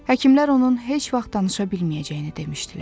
Həkimlər onun heç vaxt danışa bilməyəcəyini demişdilər.